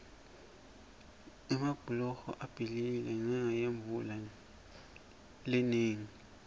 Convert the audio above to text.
emabhuloho abhidlikile ngenca yemvula lenengi